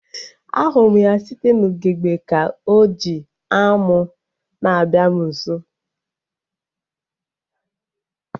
A hụrụ m ya site n'ugegbe ka ọ ji amu na-abịa m nso